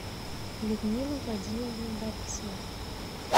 людмила владимировна борисова